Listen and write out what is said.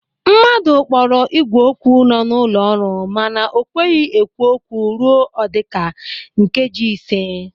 Mmadụ kpọrọ ígwè okwu nọ n'ụlọ ọrụ mana o kweghị ekwu okwu ruo ọdika nkeji ịse.